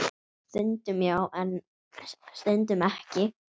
Stundum já, en stundum ekki.